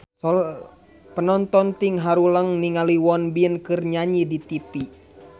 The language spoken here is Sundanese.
Panonton ting haruleng ningali Won Bin keur nyanyi di tipi